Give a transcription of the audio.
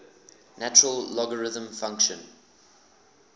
natural logarithm function